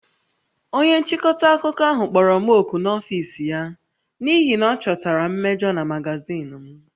Onye nchịkọta akụkọ ahụ kpọrọ m òkù n'ọfịs ya n'ihi na ọ chọtara mmejọ na magazin m